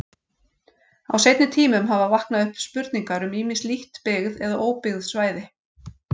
Á seinni tímum hafa vaknað upp spurningar um ýmis lítt byggð eða óbyggð svæði.